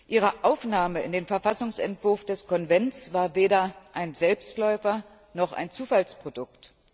Ihre Aufnahme in den Verfassungsentwurf des Konvents war weder ein Selbstläufer noch ein Zufallsprodukt.